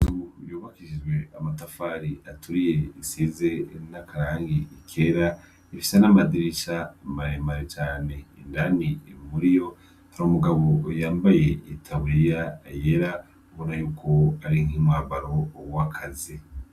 Yubakishijwe amatafari aturiye isize irinakarangi ikera ifisa n'amadiri ica maremari cane indani imuri yo hari umugabo yambaye itaburiya yera bura yuko ari nk'imwabaro uwakaze.